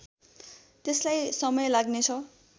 त्यसलाई समय लाग्नेछ